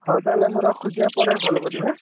ହଉ ତାହେଲେ ମୁଁ ରଖୁଛି ଆଁ ପରେ call କରିବି ଆଁ?